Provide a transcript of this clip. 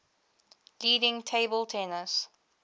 leading table tennis